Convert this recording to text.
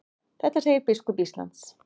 Þetta segir biskup Íslands.